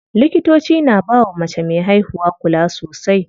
Likitoci na bawa mace me haihuwa kula sosai.